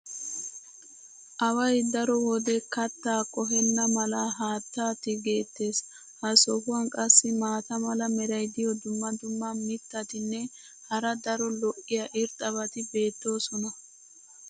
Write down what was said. Away daro wode kattaa qohenna mala haattaa tigeetees. ha sohuwan qassi maata mala meray diyo dumma dumma mitatinne hara daro lo'iya irxxabati beettoosona.